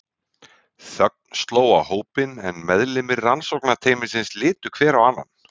Þögn sló á hópinn en meðlimir rannsóknarteymisins litu hver á annan.